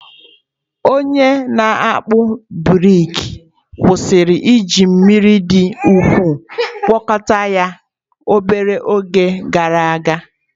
Onye na-akpụ brik kwụsịrị iji mmiri dị ukwuu gwakọta ya obere oge gara aga.